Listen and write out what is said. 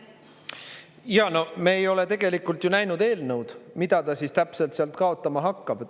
Jaa, no me ei ole tegelikult ju näinud eelnõu, mida ta täpselt sealt kaotama hakkab.